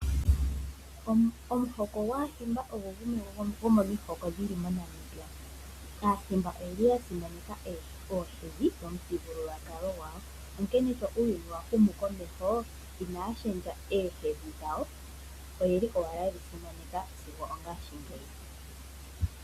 Omuhoko gwaHimba ogo gumwe gomomihoko dhili moNamibia. AaHimba oyeli ya simaneka ohedhi dhomu thigululwakalo gwawo. Onkene sho uuyuni wa humu komeho inaya lundulula ohedhi dhawo oyeli ko owala yedhi simaneka sigo ongashi ngeyi.